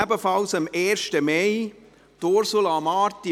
Ebenfalls am 1. Mai Geburtstag hatte Ursula Marti.